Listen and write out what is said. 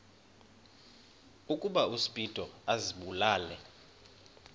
ukuba uspido azibulale